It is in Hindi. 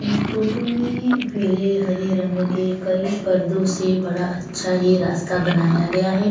इस फोटो में पीले हरे रंग के कई पर्दो से बड़ा अच्छा ही रास्ता बनाया गया है।